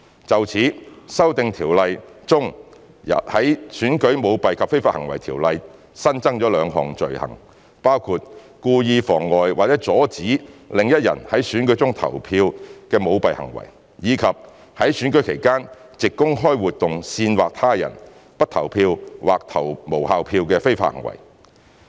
就此，《修訂條例》中在《選舉條例》新增了兩項罪行，包括故意妨礙或阻止另一人在選舉中投票的舞弊行為，以及在選舉期間藉公開活動煽惑他人不投票或投無效票的非法行為。